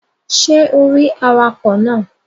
Ṣé o rí awakọ̀ náà?